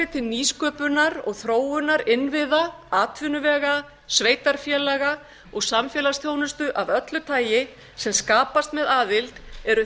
til nýsköpunar og þróunar innviða atvinnuvega sveitarfélaga og samfélagsþjónustu af öllu tagi sem skapast með aðild eru